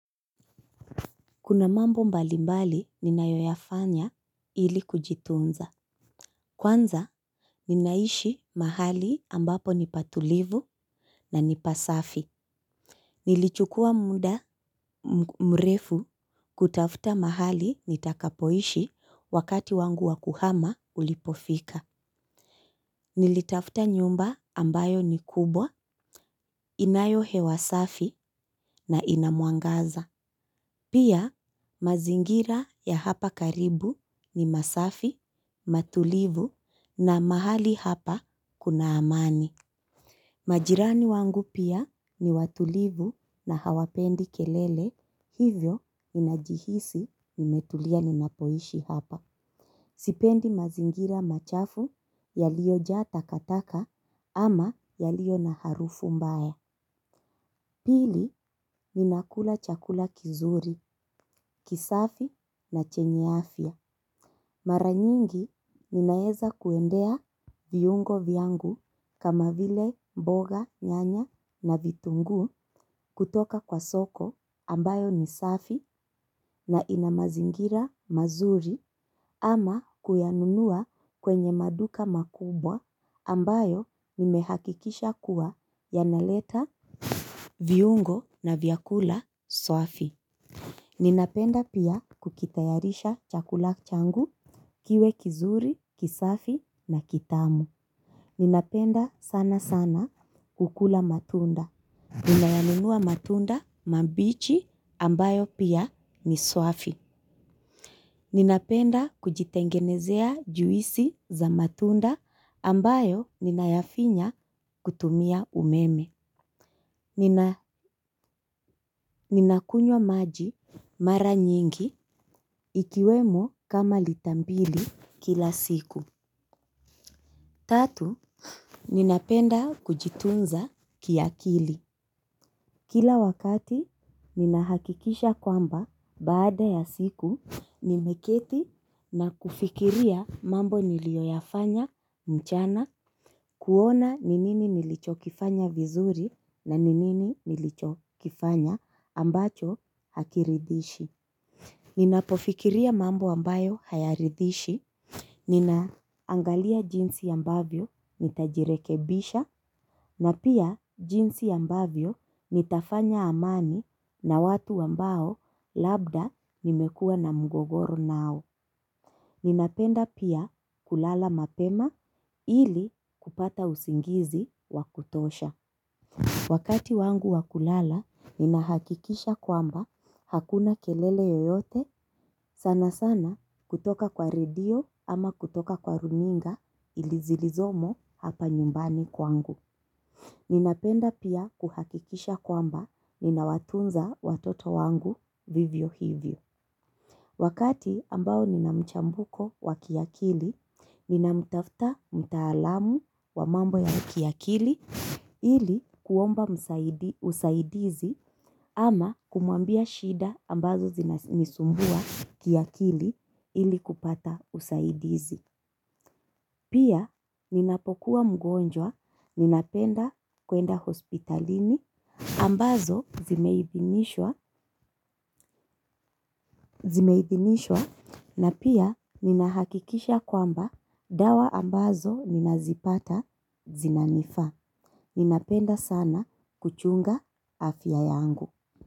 Kuna mambo mbali mbali ninayoyafanya ili kujitunza. Kwanza ninaishi mahali ambapo nipatulivu na ni pasafi. Nilichukua muda mrefu kutafuta mahali nitakapoishi wakati wangu wa kuhama ulipofika. Nilitafuta nyumba ambayo ni kubwa inayo hewa safi na ina mwangaza. Pia mazingira ya hapa karibu ni masafi, matulivu na mahali hapa kuna amani. Majirani wangu pia ni watulivu na hawapendi kelele hivyo ninajihisi nimetulia ninapoishi hapa. Sipendi mazingira machafu yaliojaa takataka ama yaliyo na harufu mbaya. Pili ninakula chakula kizuri, kisafi na chenye afya. Mara nyingi ninaeza kuendea viungo vyangu kama vile mboga nyanya na vitunguu kutoka kwa soko ambayo ni safi na ina mazingira mazuri ama kuyanunua kwenye maduka makubwa ambayo nimehakikisha kuwa yanaleta viungo na vyakula safi. Ninapenda pia kukitayarisha chakula changu kiwe kizuri, kisafi na kitamu. Ninapenda sana sana ukula matunda. Ninayanunua matunda mambichi ambayo pia ni safi. Ninapenda kujitengenezea juisi za matunda ambayo ninayafinya kutumia umeme. Ninakunywa maji mara nyingi ikiwemo kama lita mbili kila siku. Tatu, ninapenda kujitunza kiakili. Kila wakati ninahakikisha kwamba baada ya siku nimeketi na kufikiria mambo nilioyafanya mchana. Kuona ni nini nilichokifanya vizuri na ni nini nilichokifanya ambacho hakiridhishi. Ninapofikiria mambo ambayo hayaridhishi ninaangalia jinsi ambavyo nitajirekebisha na pia jinsi ambavyo nitafanya amani na watu ambao labda nimekua na mgogoro nao. Ninapenda pia kulala mapema ili kupata usingizi wa kutosha. Wakati wangu wakulala nina hakikisha kwamba hakuna kelele yoyote sana sana kutoka kwa radio ama kutoka kwa runinga ili zilizomo hapa nyumbani kwangu. Ninapenda pia kuhakikisha kwamba nina watunza watoto wangu vivyo hivyo. Wakati ambao nina mchambuko wa kiakili, ninamtafta mtaalam wa mambo ya kiakili ili kuomba usaidizi ama kumwambia shida ambazo zinanisumbua kiakili ili kupata usaidizi. Pia ninapokuwa mgonjwa ninapenda kwenda hospitalini ambazo zimeidhinishwa na pia ninahakikisha kwamba dawa ambazo ninazipata zinanifaa. Ninapenda sana kuchunga afya yangu.